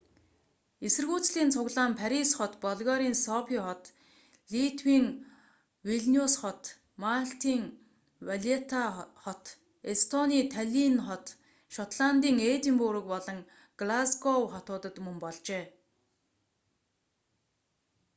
эсэргүүцлийн цуглаан парис хот болгарын софий хот литвийн вилниус хот малтын валетта хот эстонийн таллинн хот шотландын эдинбург болон глазгов хотуудад мөн болжээ